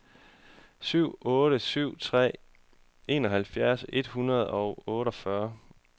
syv otte syv tre enoghalvfjerds et hundrede og otteogfyrre